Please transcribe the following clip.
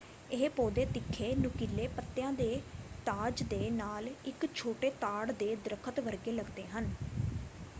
ਇਹ ਪੌਦੇ ਤਿੱਖੇ ਨੁਕੀਲੇ ਪੱਤਿਆਂ ਦੇ ਤਾਜ ਦੇ ਨਾਲ ਇੱਕ ਛੋਟੇ ਤਾੜ ਦੇ ਦਰੱਖਤ ਵਰਗੇ ਲੱਗਦੇ ਹਨ।